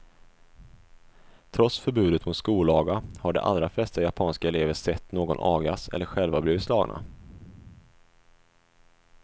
Trots förbudet mot skolaga har de allra flesta japanska elever sett någon agas eller själva blivit slagna.